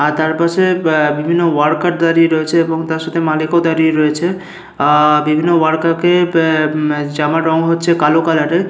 আর তার পাশে আ বিভিন্ন ওয়ার্কার দাঁড়িয়ে রয়েছে এবং তার সাথে মালিকও দাঁড়িয়ে রয়েছে। আ-আ বিভিন্ন ওয়ার্কার কে প্যা জামার রং হচ্ছে কালো কালারের ।